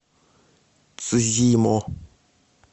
цзимо